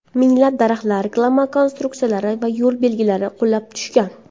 Minglab daraxtlar, reklama konstruksiyalari va yo‘l belgilari qulab tushgan.